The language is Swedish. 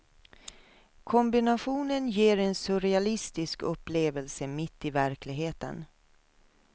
Kombinationen ger en surrealistisk upplevelse mitt i verkligheten.